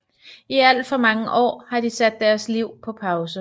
I alt for mange år har de sat deres liv på pause